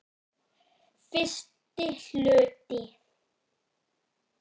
Fyrsti hluti